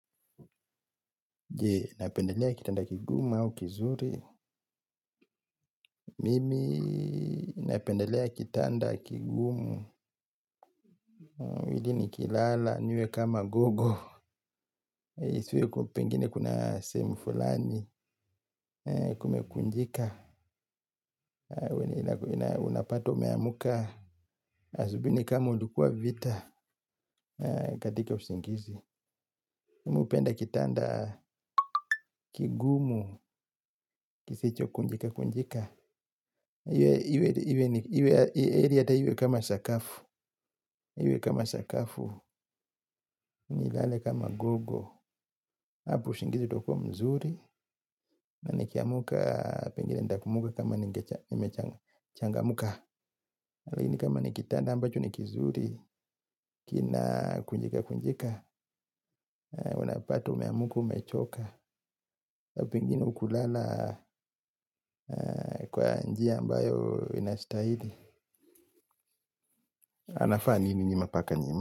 Je, unapendelea kitanda kigumu au kizuri, mimi napendelea kitanda kigumu, ili nikilala, niwe kama gogo, isiwe kuwa pengine kuna sehemu fulani, kumekunjika, unapata umeamuka, asubihi ni kama ulikuwa vita katika usingizi. Mimi hupenda kitanda kigumu kisichokunjikakunjika. Iwe heri hata iwe kama sakafu. Iwe kama sakafu, nilale kama gogo. Hapo usingizi utakuwa mzuri. Na nikiamuka, pengine nitaamuka kama nimechangamuka. Lakini kama nikitanda ambacho ni kizuri kinakunjikakunjika uanapata umeamuka umechoka na pengini hukulala kwa njia ambayo inastahidi. Anafanya nini huyo paka nyuma?